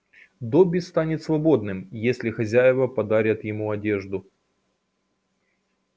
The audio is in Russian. добби станет свободным если хозяева подарят ему одежду